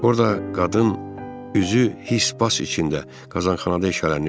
Orda qadın üzü his bas içində qazxanada işləyirdi.